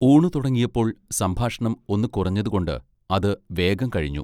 ഊണു തുടങ്ങിയപ്പോൾ സംഭാഷണം ഒന്നു കുറഞ്ഞതുകൊണ്ട് അത് വേഗം കഴിഞ്ഞു.